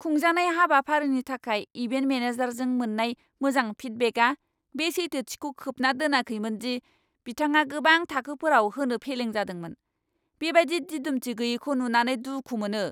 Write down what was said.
खुंजानाय हाबाफारिनि थाखाय इभेन्ट मेनेजारजों मोन्नाय मोजां फिडबेकआ बे सैथोथिखौ खोबना दोनाखैमोन दि बिथाङा गोबां थाखोफोराव होनो फेलें जादोंमोन। बेबादि दिदोमथि गैयैखौ नुनानै दुखु मोनो।